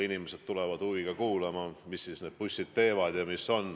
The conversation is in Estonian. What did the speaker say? Inimesed tulid huviga kuulama, mida need bussid teevad.